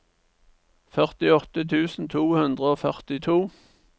førtiåtte tusen to hundre og førtito